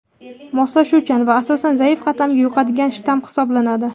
moslashuvchan va asosan zaif qatlamga yuqadigan shtamm hisoblanadi.